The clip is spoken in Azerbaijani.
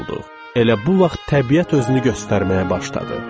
Elə bu vaxt təbiət özünü göstərməyə başladı.